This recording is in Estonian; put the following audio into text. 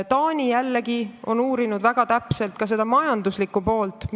Taani on jällegi väga täpselt uurinud ka seda majanduslikku poolt.